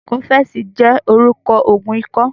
Kọ́fẹ̀sì jẹ́ orúkọ Ògùn ikọ́